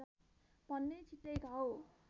भने छिट्टै घाउ